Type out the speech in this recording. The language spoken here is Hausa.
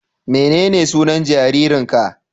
Menene sunan jaririnka?